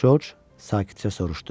Corc sakitcə soruşdu.